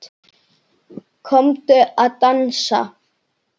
Komdu að dansa